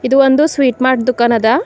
ಇದು ಒಂದು sweet mart ದುಖಾನ್ ಅದ.